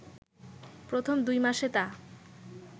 প্রথম দুই মাসে তা